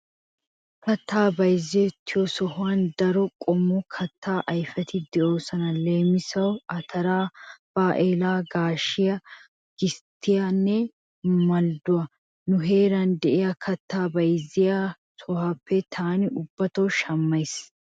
Kattay bayzzettiyoosan daro qommo kattaa ayfeti de'oosona, leemisuwaassi:-ataraa , baa'eelaa, gaashiyaa, gisttiyaanne maldduwaa. Nu heeran de'iyaa kattay bayzzettiyoosaappe taani ubbato shammays.